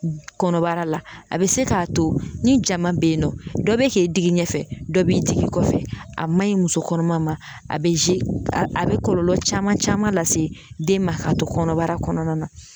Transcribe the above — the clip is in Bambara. Kɔnɔbara la a bɛ se k'a to ni jama bɛ ye nɔ dɔ bɛ k'i digi ɲɛfɛ dɔ b'i digi kɔfɛ a man ɲi muso kɔnɔma ma a bɛ a bɛ kɔlɔlɔ caman caman lase den ma k'a to kɔnɔbara kɔnɔna na.